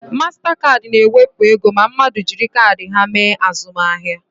Mastakaadị na ewepụ ego ma mmadụ jiri kaadị ha mee azụmahịa